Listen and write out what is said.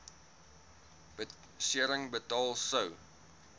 besering betaal sou